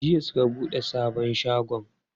Jiya suka buɗe sabon shagon.